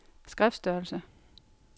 skriftstørrelse